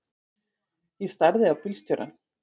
Ég starði á bílstjórann.